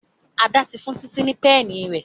Ada tí fún Titi ní Pẹ́ẹ̀nì.